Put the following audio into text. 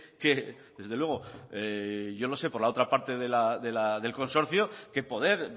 que desde luego yo lo sé por la otra parte del consorcio que poder